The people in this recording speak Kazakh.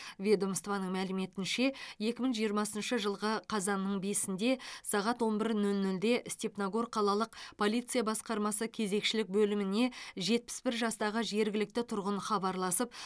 ведомствоның мәліметінше екі мың жиырмасыншы жылғы қазанның бесінде сағат он бір нөл нөлде степногор қалалық полиция басқармасы кезекшілік бөліміне жетпіс бір жастағы жергілікті тұрғын хабарласып